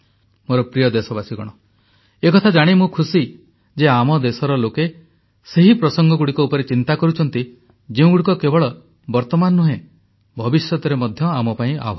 ମୋର ପ୍ରିୟ ଦେଶବାସୀଗଣ ଏକଥା ଜାଣି ମୁଁ ଖୁସି ଯେ ଆମ ଦେଶର ଲୋକେ ସେହି ପ୍ରସଙ୍ଗଗୁଡ଼ିକ ଉପରେ ଚିନ୍ତା କରୁଛନ୍ତି ଯେଉଁଗୁଡ଼ିକ କେବଳ ବର୍ତମାନ ନୁହେଁ ଭବିଷ୍ୟତରେ ମଧ୍ୟ ଆମ ପାଇଁ ଆହ୍ୱାନ